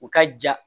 U ka ja